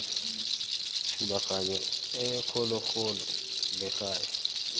thulaganyo e kgologolo le gale